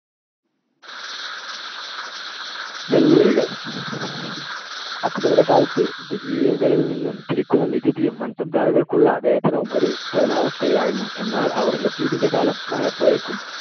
വെല്ലുവിളികൾ. അക്ബറുടെ കാലത്ത് ജഗീറുകളിൽ നിന്നു പിരിക്കുന്ന നികുതിയും മാൻസബ്ദാറുകൾക്കുള്ള വേതനവും ഒരു തുലനാവസ്ഥയിലായിരുന്നു. എന്നാൽ ഔറംഗസേബിന്‍ടെ കാലമായപ്പോഴേക്കും